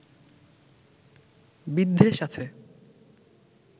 বিদ্বেষ আছে